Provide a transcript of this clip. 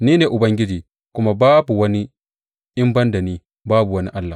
Ni ne Ubangiji, kuma babu wani; in ban da ni babu wani Allah.